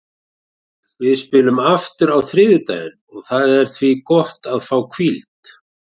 Við spilum aftur á þriðjudaginn og það er því gott að fá hvíld.